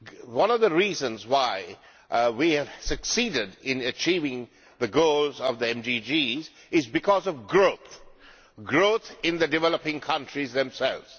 One of the reasons why we have succeeded in achieving the MDGs is because of growth growth in the developing countries themselves.